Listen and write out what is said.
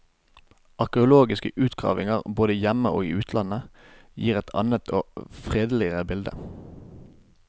Arkeologiske utgravninger både hjemme og i utlandet gir et annet og fredeligere bilde.